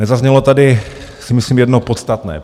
Nezaznělo tady, myslím si, jedno podstatné.